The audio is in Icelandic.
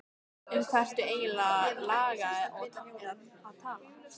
Um hvað ertu eigin lega að tala?